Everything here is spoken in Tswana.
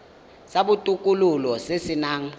sa botokololo se se nang